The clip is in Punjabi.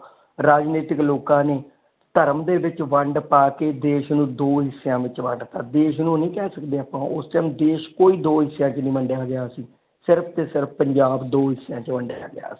ਰਾਜਨੀਤਿਕ ਲੋਕ ਨੇ ਧਰਮ ਦੇ ਵਿਚ ਵੰਡ ਪਾ ਕੇ ਦੇਸ਼ ਨੂੰ ਦੋ ਹਿਸਿਆਂ ਵਿਚ ਵੰਡ ਦਿੱਤਾ ਦੇਸ਼ ਨੂੰ ਨੀ ਕਹਿ ਸਕਦੇ ਆਪ ਉਸ ਟਾਈਮ ਦੇਸ਼ ਕੋਈ ਦੋ ਹਿਸਿਆਂ ਵਿਚ ਨਹੀਂ ਵੰਡਿਆ ਗਿਆ ਸੀ ਸਿਰਫ ਤੇ ਸਿਰਫ ਪੰਜਾਬ ਦੋ ਹਿਸਿਆਂ ਵਿਚ ਵੰਡਿਆ ਗਿਆ ਸੀ।